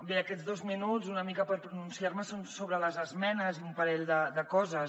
bé aquests dos minuts són una mica per pronunciar me sobre les esmenes i un parell de coses